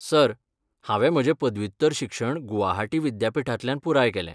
Sir, हांवें म्हजें पदव्युत्तर शिक्षण गुवाहाटी विद्यापीठांतल्यान पुराय केलें.